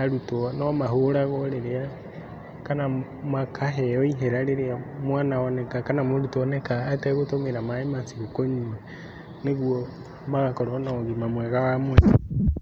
arutwo nomahũragwo rĩrĩa kana makaheo ihera rĩrĩa mwana oneka kana mũrutwo oneka ategũtũmĩra maĩ macio kũnyua nĩguo magakorwo na ũgima mwega wa mwĩrĩ.